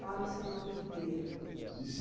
Fala seu nome inteiro.